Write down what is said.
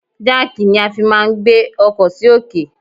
Jáàkì ni a fi máà ń gbé ọkọ sì òkè.